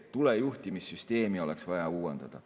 Tulejuhtimissüsteemi oleks vaja uuendada.